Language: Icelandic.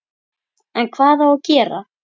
En hvað á að gera?